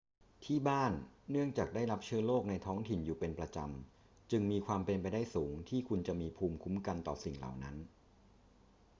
ที่บ้าน เนื่องจากได้รับเชื้อโรคในท้องถิ่นอยู่เป็นประจำ จึงมีความเป็นไปได้สูงที่คุณจะมีภูมิคุ้มกันต่อสิ่งเหล่านั้น